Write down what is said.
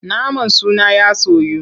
Naman suna ya soyu.